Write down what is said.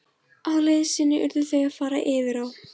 Á leið sinni urðu þau að fara yfir á.